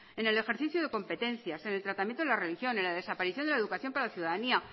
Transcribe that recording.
en el ejercicio de competencias en el tratamiento de la religión en la desaparición de la educación para la ciudadanía